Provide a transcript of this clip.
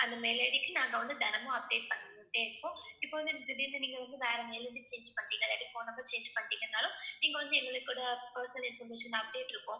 அந்த mail ID க்கு நாங்க வந்து தினமும் update பண்ணிட்டே இருப்போம். இப்ப வந்து திடீர்னு நீங்க வந்து வேற mailIDchange பண்டீங்க இல்லாட்டி phone number change பண்டீங்கன்னாலும் நீங்க வந்து எங்க personal information update இருக்கும்.